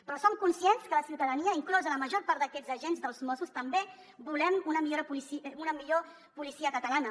però som conscients que la ciutadania inclosa la major part d’aquests agents dels mossos també volem una millor policia catalana